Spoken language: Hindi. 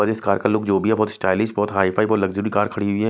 और इस कार लोग जो भी बहुत स्टाइलिश बहुत हाई फाई को लग्जरी कार खड़ी हुई है।